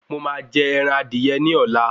Mo máa jẹ ẹran adìyẹ ní ọ̀la